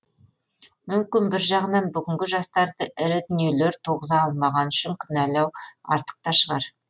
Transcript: мүмкін бір жағынан бүгінгі жастарды ірі дүниелер туғыза алмағаны үшін кінәлау артық та шығар